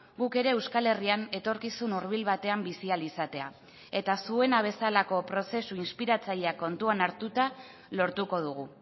guk ere euskal herrian etorkizun hurbil batean bizi ahal izatea eta zuena bezalako prozesu inspiratzaileak kontuan hartuta lortuko dugu